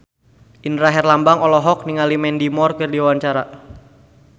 Indra Herlambang olohok ningali Mandy Moore keur diwawancara